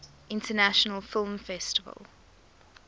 international film festival